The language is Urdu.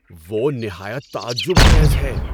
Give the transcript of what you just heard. وہ نہایت تعجب خیز ہے!